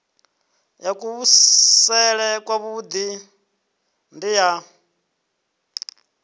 ya kuvhusele kwavhui ndi ya